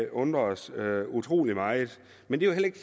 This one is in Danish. undrer os utrolig meget men det